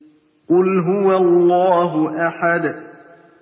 قُلْ هُوَ اللَّهُ أَحَدٌ